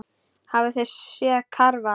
Hafið þið séð karfa, ha?